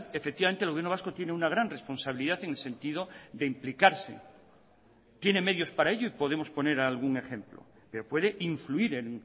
efectivamente el gobierno vasco tiene una gran responsabilidad en el sentido de implicarse tiene medios para ello y podemos poner algún ejemplo pero puede influir en